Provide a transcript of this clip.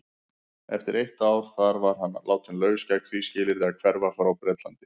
Eftir eitt ár þar var hann látinn laus gegn því skilyrði að hverfa frá Bretlandi.